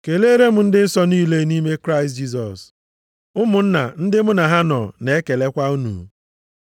Keleere m ndị nsọ niile nʼime Kraịst Jisọs. Ụmụnna ndị mụ na ha nọ na-ekelekwa unu.